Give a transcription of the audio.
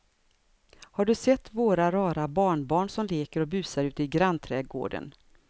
Har du sett våra rara barnbarn som leker och busar ute i grannträdgården!